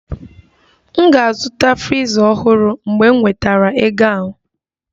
M ga-azụta friza ọhụrụ mgbe m nwetara ego ahụ